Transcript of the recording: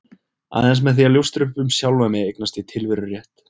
Aðeins með því að ljóstra upp um sjálfan mig eignast ég tilverurétt.